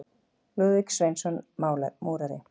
Lúðvík Sveinsson múrari.